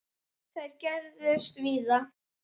Þær gerðust víða.